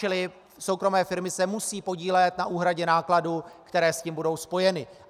Čili soukromé firmy se musejí podílet na úhradě nákladů, které s tím budou spojeny.